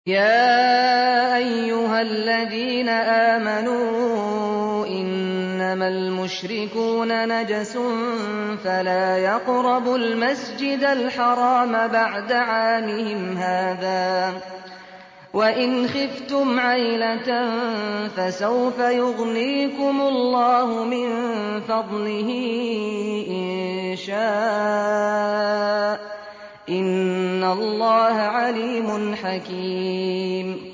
يَا أَيُّهَا الَّذِينَ آمَنُوا إِنَّمَا الْمُشْرِكُونَ نَجَسٌ فَلَا يَقْرَبُوا الْمَسْجِدَ الْحَرَامَ بَعْدَ عَامِهِمْ هَٰذَا ۚ وَإِنْ خِفْتُمْ عَيْلَةً فَسَوْفَ يُغْنِيكُمُ اللَّهُ مِن فَضْلِهِ إِن شَاءَ ۚ إِنَّ اللَّهَ عَلِيمٌ حَكِيمٌ